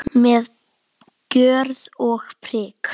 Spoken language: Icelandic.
Með gjörð og prik.